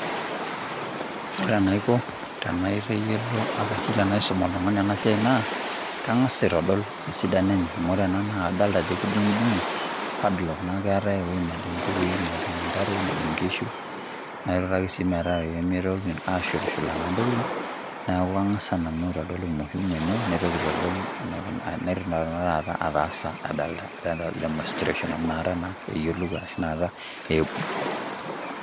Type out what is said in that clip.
Ore enaiko, tenaitayiolo arashi tenaisum oltung'ani enasiai naa, kang'as aitodol esidano enye. Amu ore ena naa, kadalta ajo kedung'dung'o, padlock. Neeku keetae ewoi nejing' inkukui, nejing' intare, nejing' inkishu, na kenoto ake si metaa pemitoki ashulshula naa ntokiting, neeku kang'asa nanu aitodol umuhimu enye, naitoki aitodol ataasa adolta demonstration, amu nakata naa, eyiolou arashu nakata iibung'.